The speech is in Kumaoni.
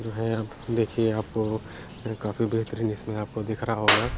जो है आप देखिए आपको काफी बेहतरीन इसमे आपको दिख रहा होगा